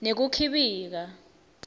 nekukhibika